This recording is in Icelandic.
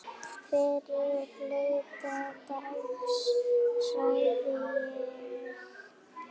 Fyrri hluta dags sagði ég.